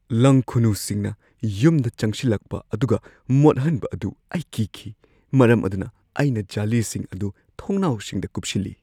ꯂꯪꯈꯨꯅꯨꯁꯤꯡꯅ ꯌꯨꯝꯗ ꯆꯪꯁꯤꯜꯂꯛꯄ ꯑꯗꯨꯒ ꯃꯣꯠꯍꯟꯕ ꯑꯗꯨ ꯑꯩ ꯀꯤꯈꯤ, ꯃꯔꯝ ꯑꯗꯨꯅ ꯑꯩꯅ ꯖꯥꯂꯤꯁꯤꯡ ꯑꯗꯨ ꯊꯣꯡꯅꯥꯎꯁꯤꯡꯗ ꯀꯨꯞꯁꯤꯜꯂꯤ꯫